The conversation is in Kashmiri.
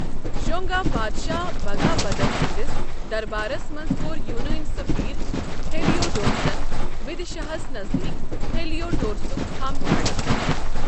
شونگا بادشاہ بھگا بھدر سنٛدِس دربارس منٛز کوٚر یوٗنٲنی سفیر ہیلیوڈورسن وِدِشاہَس نزدیٖک ہیلیوڈورسُک تھَم کھڑا۔